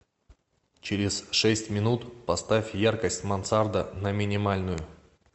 через шесть минут поставь яркость мансарда на минимальную